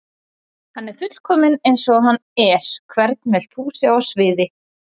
Hann er fullkominn eins og hann er Hvern vildir þú sjá á sviði?